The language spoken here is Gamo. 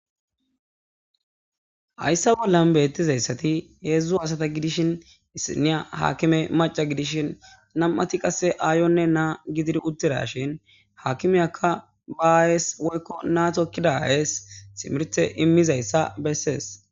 Hayssa bollan bethizay hezzu assatha gidishin issinaya hakime macca gidishin namma'thi qasse ayonne na gidiri uthidashen hakimeyakka ba ayess na tokida ayess timirthe imiza besses.